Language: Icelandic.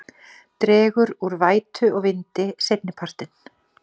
Dregur úr vætu og vindi seinnipartinn